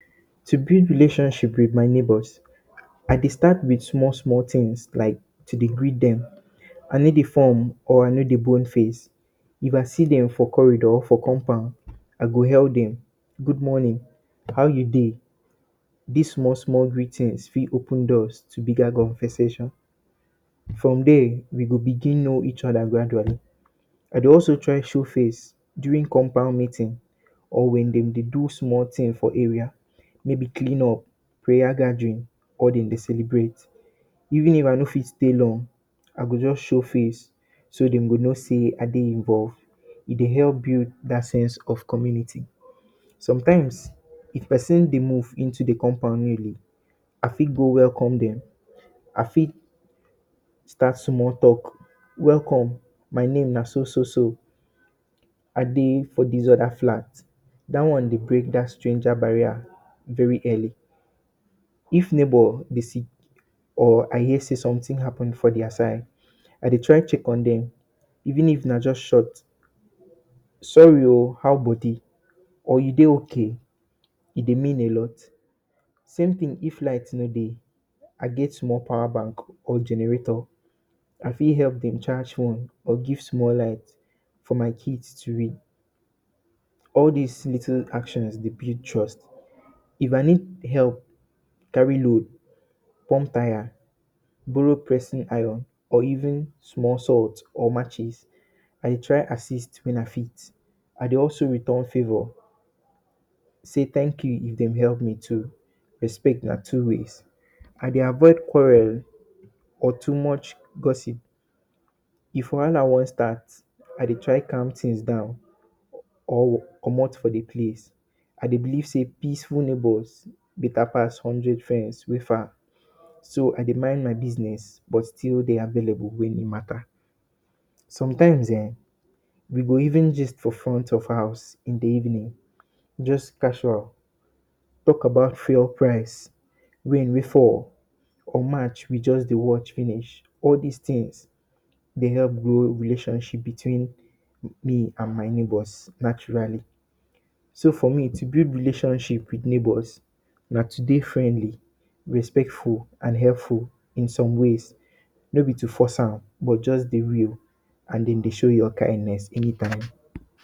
To build relation with my neighbors I dey start with small small thing to de greet dem I no de form or I no de bon face, if I see dem for corridor or for compound I go hail dem good morning, how you de dis small small greeting fit open doors to bigger conversation from there we go begin no each other gradually I dey also try show face during compound meetings or when dem de do small thing for area maybe clean up, prayer gathering or dem de celebrate even if I no fit stay long I go just show face so dem go no sey I de involved e de help build dat sense of community. Sometimes if person de move into the compound newly I fit go welcome dem I fit start small talk welcome my name na so so so I dey dis other flat dat one de break that stranger barrier very early if neighbor de sick or I hear sey something happen for their side, I dey try check on them even If na just short sorry oo how body or you de ok? E de mean a lot same thing if light no de I get small power bank or generator I fit help them charge phone or give small light for my kids to read all this little actions de build trust if I need help carry load, plump tire, borrow pressing iron or even small salt or matches I de try assist when I fit I de also return favor say thank you if dem help me too respect na two ways I dey avoid quarrel or too much gossip if wahala wan start I de try calm things down or comot from de place I de believe sey peaceful neighbors beta pass hundred friends wey far so I de mind my business but still de available when e matter sometimes[um]we go even gist for front of housem in de evening just casual talk about fuel price, rain wey fall or match we just dey watch finish wey all this things de help grow relationship between me and my neighbors naturally so for me to build relation with neighbors na to de friendly respectful and helpful in some ways no be to force am but just de real and de show your kindness anytime